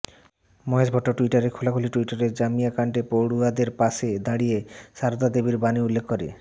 মহেশ ভট্ট টুইটারে খোলাখুলি টুইটারে জামিয়া কাণ্ডে পড়ুয়াদের পাশে দাঁড়িয়ে সারদা দেবীর বাণী উল্লেখ করে